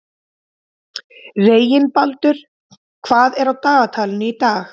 Reginbaldur, hvað er á dagatalinu í dag?